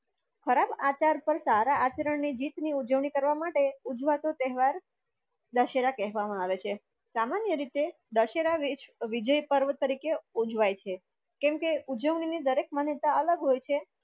ખરાબ આચાર પર સારા આચરણ ની જીત ની ઉજવણી કરવા માટે ઉજવાતો તેહવાર દશેરા કહવા મા આવે છે. સામાન્ય રીતે દશેરા વિચ વિજય પર્વ તરીકે ઉજવાય છે કામકે ઉજવણી ની દરેક માન્યતા આલગ હોય છે.